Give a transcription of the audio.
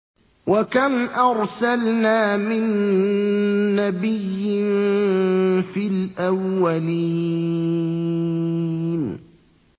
وَكَمْ أَرْسَلْنَا مِن نَّبِيٍّ فِي الْأَوَّلِينَ